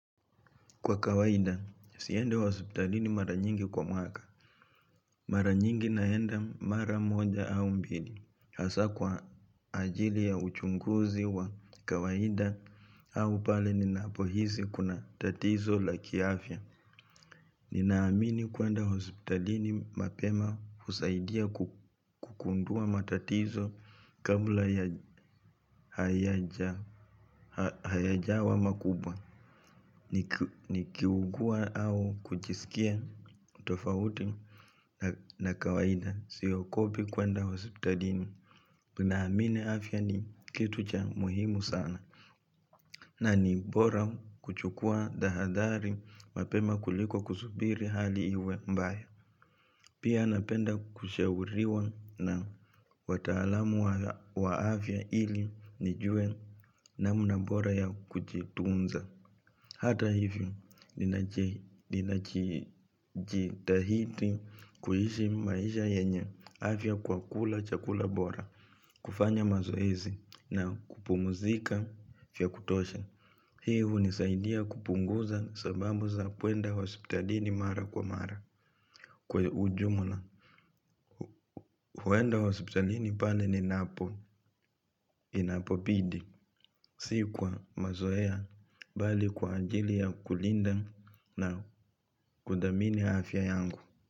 Kwa kawaida, siendi hospitalini mara nyingi kwa mwaka. Mara nyingi naenda mara moja au mbili hasa kwa ajili ya uchunguzi wa kawaida au pale ninapohisi kuna tatizo la kiafya. Ninaamini kuenda hospitalini mapema husaidia kugundua matatizo kabla hayajawa makubwa nikiugua au kujisikia tofauti na kawaida siogopi kuenda hospitalini ninaamini afya ni kitu cha muhimu sana. Na ni mbora kuchukua tahadhari mapema kuliko kusubiri hali iwe mbaya. Pia napenda kushauriwa na wataalamu wa afya ili nijue namna bora ya kujitunza. Hata hivyo, ninajitahidi kuishi maisha yenye afya kwa kula chakula bora, kufanya mazoezi, na kupumzika vya kutosha. Hii hunisaidia kupunguza sababu za kuenda hospitalini mara kwa mara. Kwa ujumla. Huwenda hospitalini paie ninapo, inapobidi. Si kwa mazoea bali kwa ajili ya kulinda na kuthamini afya yangu.